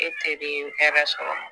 E teri ye hɛrɛ sɔrɔ